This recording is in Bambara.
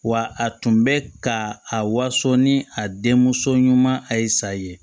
Wa a tun bɛ ka a waso ni a denmuso ɲuman a ye sa ye